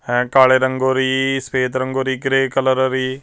ਹੈ ਕਾਲੇ ਰੰਗੋ ਰੀ ਸਫੇਦ ਰੰਗੋ ਰੀ ਗ੍ਰੇ ਕਲਰ ਰੀ।